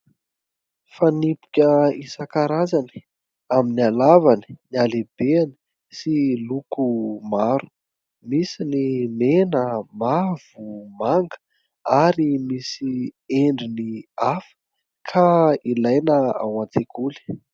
Fanipika isan-karazany amin'ny halavany, ny halehibeny sy loko maro. Misy ny mena, mavo, manga ary misy endriny hafa ka ilaina ao an-tsekoly.